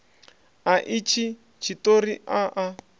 a itshi tshiṱori a a